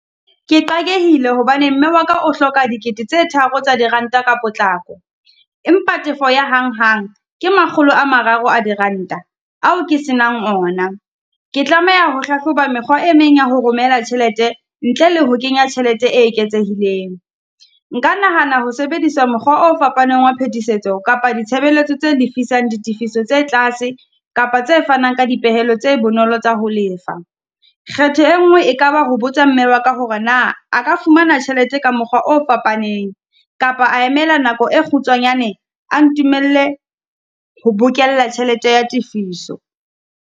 Ke qakehile hobane mme wa ka o hloka dikete tse tharo tsa diranta ka potlako, empa tefo ya hanghang ke makgolo a mararo a diranta, ao ke se nang ona. Ke tlameha ho hlahloba mekgwa e meng ya ho romela tjhelete ntle le ho kenya tjhelete e eketsehileng. Nka nahana ho sebedisa mokgwa o fapaneng wa phetisetso kapa ditshebeletso tse lefisang ditefiso tse tlase kapa tse fanang ka dipehelo tse bonolo tsa ho lefa. Kgetho e nngwe e ka ba ho botsa mme wa ka hore na a ka fumana tjhelete ka mokgwa o fapaneng, kapa a emela nako e kgutshwanyane, a ntumelle ho bokella tjhelete ya tifiso.